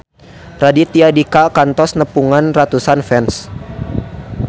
Raditya Dika kantos nepungan ratusan fans